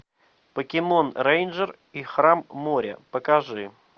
покемон рэйнджер и храм моря покажи